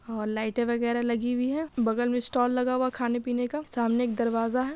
और लाइटे वगेरा लगी हुई हैं। बगल में स्टॉल लगा हुआ है खाने पीने का। सामने एक दरवाजा है।